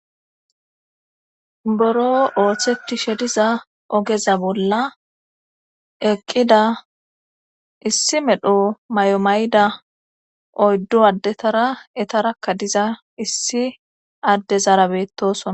boro ooththeti she diza ogeza bolla eqqida issi medho may7omayda oyddu addetara etarakka diza issi adde zaarabettosona